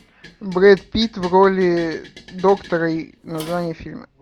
брэд питт в роли доктора название фильма